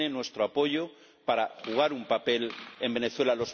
Tiene nuestro apoyo para jugar un papel en Venezuela.